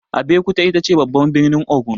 Abeokuta itace babban birnin Ogun.